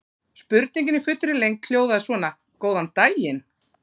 Spurningin í fullri lengd hljóðaði svona: Góðan daginn.